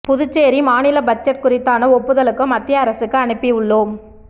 புதுச்சேரி மாநில பட்ஜெட் குறித்தான ஒப்புதலுக்கு மத்திய அரசுக்கு அனுப்பி உள்ளோம்